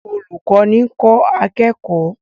Olùkọ́ni ń kọ́ akẹ́kọ̀ọ́